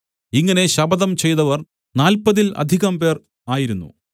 ഇങ്ങനെ ശപഥം ചെയ്തവർ നാല്പതിൽ അധികംപേർ ആയിരുന്നു